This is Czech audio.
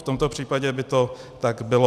V tomto případě by to tak bylo.